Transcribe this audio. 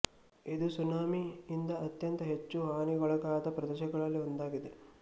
ಇದು ಸುನಾಮಿ ಇಂದ ಅತ್ಯಂತ ಹೆಚ್ಚು ಹಾನಿಗೊಳಗಾದ ಪ್ರದೇಶಗಳಲ್ಲಿ ಒಂದಾಗಿದೆ